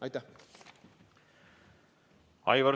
Aitäh!